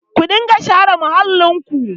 Ku riƙa share muhallinku!